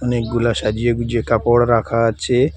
অনেকগুলা সাজিয়ে গুছিয়ে কাপড় রাখা আছে।